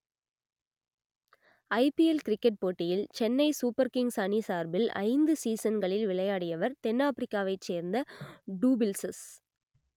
ஐ P L cricket போட்டியில் Chennai Super Kings அணி சார்பில் ஐந்து சீசன்களில் விளையாடியவர் தென் ஆப்பிரிக்காவைச் சேர்ந்த டூ பிள்ஸ்சிஸ்